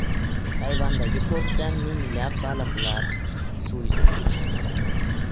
Tayvandagi portda minglab baliqlar suv yuzasiga chiqib qoldi.